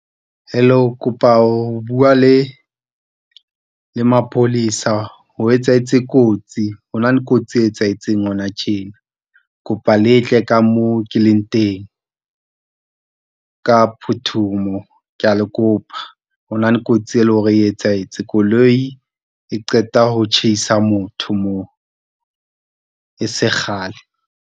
Hello, kopa ho bua le mapolesa ho etsahetse kotsi hona le kotsi e etsahetseng hona tjena. Kopa letle ka mo ke leng teng ka phuthumo kea le kopa hona le kotsi e leng hore e etsahetse koloi e qeta ho tjhaisa motho mo e se kgale.